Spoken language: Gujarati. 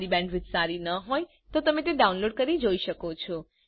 જો તમારી બેન્ડવિડ્થ સારી ન હોય તો તમે ડાઉનલોડ કરી તે જોઈ શકો છો